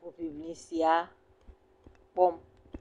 hoŋiŋli sia kpɔm.